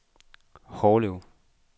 Hårlev